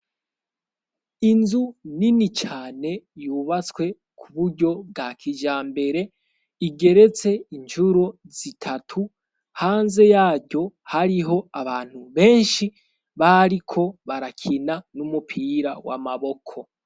Inzu nini cane yubaswe ku buryo bwa kijambere igeretse incuro zitatu. Hanze yaryo hariho abantu benshi bariko barakina n'umupira w'amaboko.